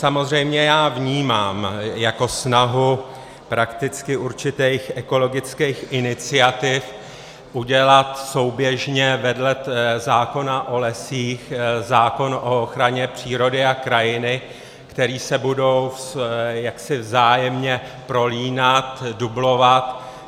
Samozřejmě já vnímám jako snahu prakticky určitých ekologických iniciativ udělat souběžně vedle zákona o lesích zákon o ochraně přírody a krajiny, které se budou jaksi vzájemně prolínat, dublovat.